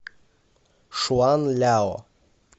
шуанляо